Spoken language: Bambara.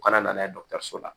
U kana na n'a ye dɔgɔtɔrɔso la